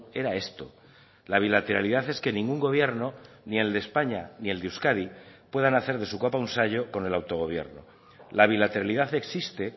era esto la bilateralidad es que ningún gobierno ni el de españa ni el de euskadi puedan hacer de su capa un sayo con el autogobierno la bilateralidad existe